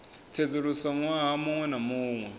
sedzuluswa ṅwaha muṅwe na muṅwe